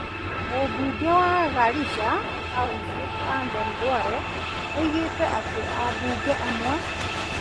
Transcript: Mũmbunge wa Garissa Township Aden Duale oigire atĩ ambunge amwe,